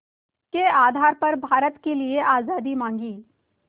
के आधार पर भारत के लिए आज़ादी मांगी